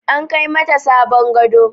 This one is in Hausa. An Kai mata sabon gado.